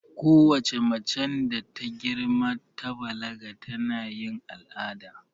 Kowace macen da ta girma ta balaga tana yin al'ada